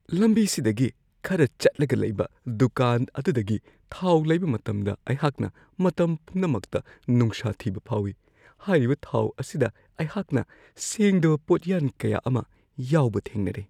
ꯂꯝꯕꯤ ꯁꯤꯗꯒꯤ ꯈꯔ ꯆꯠꯂꯒ ꯂꯩꯕ ꯗꯨꯀꯥꯟ ꯑꯗꯨꯗꯒꯤ ꯊꯥꯎ ꯂꯩꯕ ꯃꯇꯝꯗ ꯑꯩꯍꯥꯛꯅ ꯃꯇꯝ ꯄꯨꯝꯅꯃꯛꯇ ꯅꯨꯡꯁꯥ ꯊꯤꯕ ꯐꯥꯎꯋꯤ ꯫ ꯍꯥꯏꯔꯤꯕ ꯊꯥꯎ ꯑꯁꯤꯗ ꯑꯩꯍꯥꯛꯅ ꯁꯦꯡꯗꯕ ꯄꯣꯠꯌꯥꯟ ꯀꯌꯥ ꯑꯃ ꯌꯥꯎꯕ ꯊꯦꯡꯅꯔꯦ ꯫